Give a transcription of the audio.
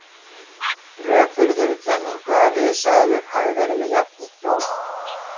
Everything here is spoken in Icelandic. Rök fyrir þeirri kenningu að risaeðlur hafi verið með jafnheitt blóð.